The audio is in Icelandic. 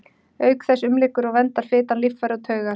Auk þess umlykur og verndar fitan líffæri og taugar.